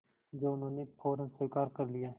जो उन्होंने फ़ौरन स्वीकार कर लिया